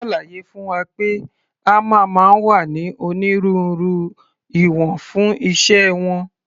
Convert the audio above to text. Wọ́n ṣàlàyé fún wa pé hámà máa ń wá ní onírúurú ìwọ̀n fún iṣẹ́ wọn.